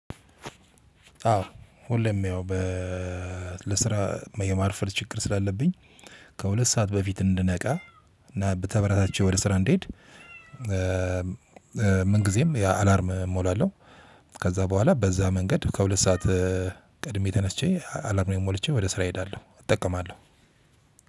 አዎ ሁሌም ያው በ ለስራ የማርፈድ ችግር ስላለብኝ ከሁለት ሰዓት በፊት እንድነቃ እና ተበራታትቼ ወደ ስራ እንድሄድ። ምን ጊዜም አላርም እሞላለሁ። ከዛ በኋላ በዛ መንገድ ከሁለት ሰዓት ቅድሜ ተነስቼ አላርሜን ሞልቼ ወደ ስራ እሄዳለሁ እጠቀማለሁ።